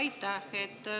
Aitäh!